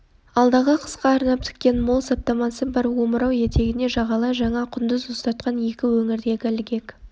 алдағы қысқа арнап тіккен мол саптамасы бар омырау етегіне жағалай жаңа құндыз ұстатқан екі өңірдегі ілгек